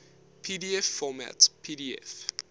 pdf format pdf